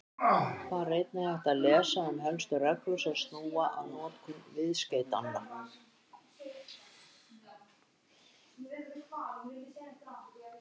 Þar er einnig hægt að lesa um helstu reglur sem snúa að notkun viðskeytanna.